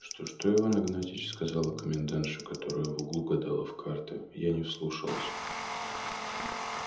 что что иван игнатьич сказала комендантша которая в углу гадала в карты я не вслушалась